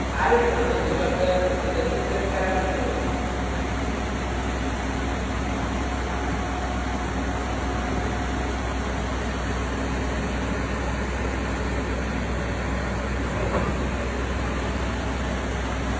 i am a constructor with a single parameter